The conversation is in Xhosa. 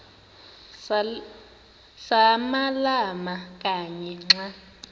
samalama kanye xa